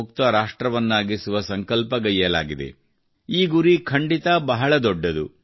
ಮುಕ್ತ ರಾಷ್ಟ್ರವನ್ನಾಗಿಸುವ ಸಂಕಲ್ಪಗೈಯ್ಯಲಾಗಿದೆ ಈ ಗುರಿ ಖಂಡಿತ ಬಹಳ ದೊಡ್ಡದು